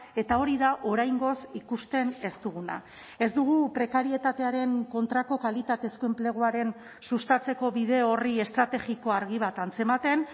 eta hori da oraingoz ikusten ez duguna ez dugu prekarietatearen kontrako kalitatezko enpleguaren sustatzeko bide horri estrategiko argi bat antzematen